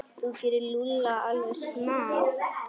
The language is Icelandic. Þú gerir Lúlla alveg snar,